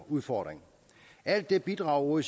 udfordring alt det bidrager